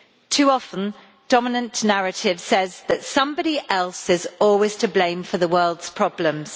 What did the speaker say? Too often, the dominant narrative says that somebody else is always to blame for the world's problems.